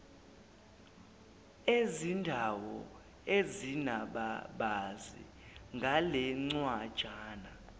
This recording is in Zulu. ezindawo ezinababazi ngalencwajana